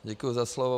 Děkuju za slovo.